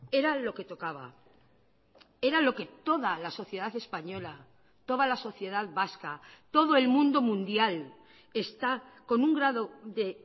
era lo que tocaba era lo que toda la sociedad española toda la sociedad vasca todo el mundo mundial está con un grado de